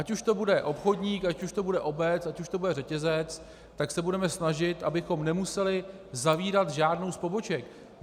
Ať už to bude obchodník, ať už to bude obec, ať už to bude řetězec, tak se budeme snažit, abychom nemuseli zavírat žádnou z poboček.